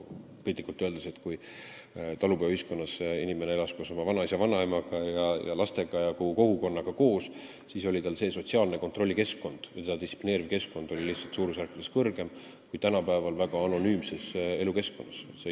Piltlikult öeldes, kui talupojaühiskonnas elas inimene koos oma vanaisa ja vanaemaga, lastega ja kogu kogukonnaga koos, siis see sotsiaalse kontrolli keskkond, distsiplineeriv keskkond oli suurusjärkude võrra tugevam kui tänapäevases väga anonüümses keskkonnas.